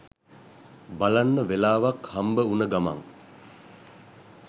බලන්න වෙලාවක් හම්බ වුන ගමන්